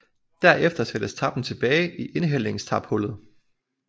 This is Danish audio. Derefter sattes tappen tilbage i indhældningstaphullet